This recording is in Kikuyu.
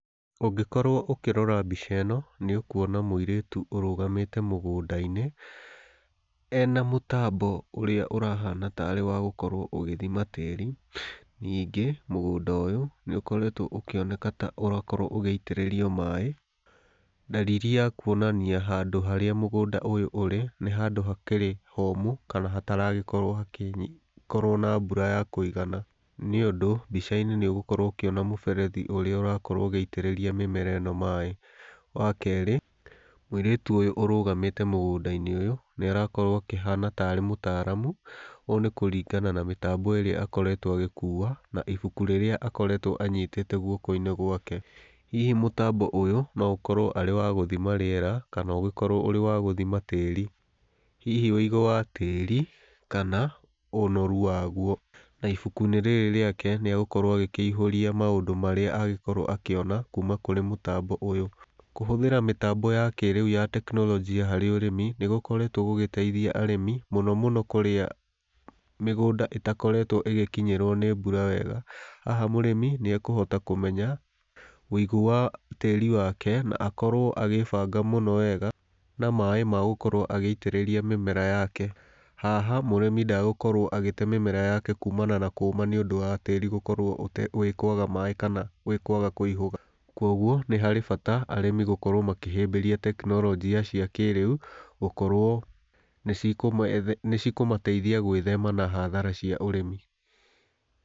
Ũngĩkorwo ũkĩrora mbica ĩno, nĩũkwona mũirĩtu ũrũgamĩte mũgũndainĩ ena mũtambo ũrĩa ũrahana ta wagĩkorwo ũgĩthima tĩri, ningĩ mũgũnda ũyũ nĩũkoretwe ũkĩoneka ta ũrakorwo ũgĩitĩrĩrio maĩ, dalili ya kũonania handũ harĩa mũgũnda ũyũ ũrĩ nĩ handũ hakĩrĩ homũ kana hataragĩkorwo na mbura ya kũigana nĩũndũ mbicainĩ nĩũgũkorwo ũkĩona mũberethi ũrĩa íũragĩkorwo ũgĩitĩrĩria mĩmera ĩno maĩ, wakerĩ mũirĩtu ũyũ ũrũgamĩte mũgũndainĩ ũyũ nĩarakorwo akĩhana tarĩ mũtaramu ũũ nĩ kũringana na mĩtambo ĩrĩa akoretwe agĩkua na ibuku rĩrĩa akoretwo anyitĩtĩ guokoinĩ gwake, hihi mũtambo ũyũ noũkorwo hari wa gũthima rĩera kana ũgĩkorwo ũrĩ wagũthima tĩri, hihi ũigũ wa tĩri kana ũnoru waguo na ibukuinĩ rĩrĩ rĩake nĩagũkorwo agĩkĩyuiria maũndũ marĩa agĩkorwo akĩona kuuma kũrĩ mũtambo ũyũ. Kũhũthĩra mĩtambo ya kĩrĩu ya tekinorojĩ ya ũrĩmi nĩ gũkoretwe kũgĩteithia arĩmi mũno mũno kũria mĩgũnda ĩtakoretwe ĩgĩkinyĩrwa nĩ mbura wega ,haha mũrĩmi nĩekũhota kũmenya ũigũ wa tĩri wake na akorwo akĩbanga mũno wega maĩ magũkorwo agĩitĩrĩria mĩmera yake, haha mũrĩmi ndagũkorwo agĩte mĩmera yake kumana na kũma nĩiũndũ wa tĩri gũkorwo kwaga maĩ kana kwaga kuihũga, kwoguo nĩ harĩ bata arĩmi gũkorwo makĩhĩbĩria tekinoronjĩa ciakĩrĩu gũkorwo nĩcikũmateithia gwĩthema na hathara cia ũrĩmi.